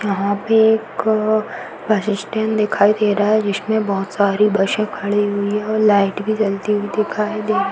यहाँ पे एक बस स्टैंड दिखाई दे रहा है। जिसमें बहोत सारी बसें खड़ी हुई हैं और लाइट भी जलती हुई दिखाई दे --